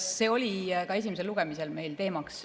See oli ka esimesel lugemisel teemaks.